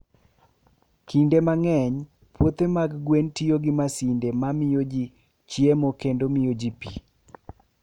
Kinde mang'eny, puothe mag gwen tiyo gi masinde ma miyo ji chiemo kendo miyo ji pi.